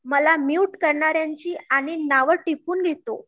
मला म्यूट करणाऱ्याची आणि नाव टिपून घेतो